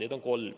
Neid on kolm.